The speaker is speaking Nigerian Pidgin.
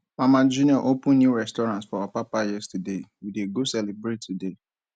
mama junior open new restaurant for apapa yesterday we dey go celebrate today